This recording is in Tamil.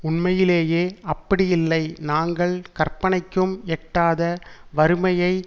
உண்மையிலேயே அப்படியில்லை நாங்கள் கற்பனைக்கும் எட்டாத வறுமையை